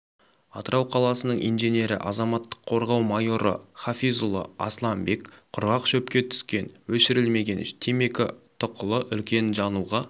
атырау қаласының инженері азаматтық қорғау майоры хафизұлы асыланбек құрғақ шөпке түскен өшірілмеген темекі тұқылы үлкен жануға